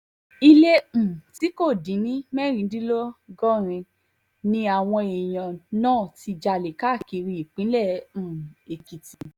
ilé um tí kò dín ní mẹ́rìndínlọ́gọ́rùn-ún ni àwọn èèyàn náà ti jalè káàkiri ìpínlẹ̀ um èkìtì